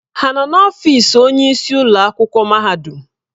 Ha nọ n'ọfịs onyeisi ụlọ akwụkwọ mahadum?